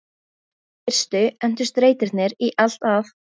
Í fyrstu entust reitirnir í allt að